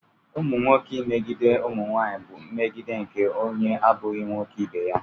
Ụmụ nwoke imegide ụmụ nwanyị bú mmegide nke onye abụghị nwoke ibe ha